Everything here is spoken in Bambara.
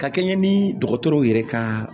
Ka kɛɲɛ ni dɔgɔtɔrɔw yɛrɛ ka